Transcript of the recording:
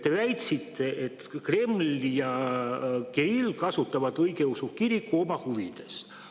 Te väitsite, et Kreml ja Kirill kasutavad õigeusu kirikut oma huvides.